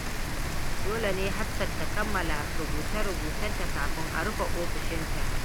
Dole ne Hafsat ta kammala rubuce-rubucenta kafin a rufe ofishinta.